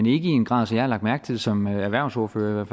i en grad så jeg har lagt mærke til det som erhvervsordfører